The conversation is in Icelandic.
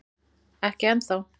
Ekki enn þá